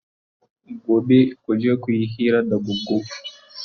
Gobe kuje kuyi hira da Goggo!